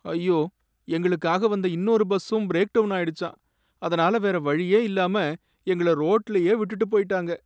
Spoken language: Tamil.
ஐயோ! எங்களுக்காக வந்த இன்னொரு பஸ்ஸும் பிரேக் டவுன் ஆயிடுச்சாம், அதனால வேற வழியே இல்லாம எங்கள ரோட்டுலயே விட்டுட்டு போயிட்டாங்க